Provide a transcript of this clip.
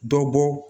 Dɔ bɔ